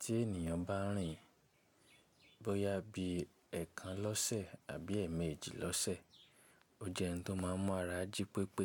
Tí ènìyàn bá rìn bóyá bí ẹẹkan lọ́sẹ̀ àbí ẹ̀ẹ̀mejì lọ́sẹ̀, o jẹ́ n tó máa mu ara jí pépé.